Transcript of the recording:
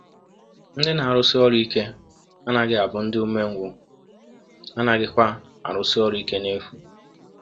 Ndị na-arụsi ọrụ ike anaghị abụ ndị umengwụ, ha anaghịkwa arụsi ọrụ ike n’efu.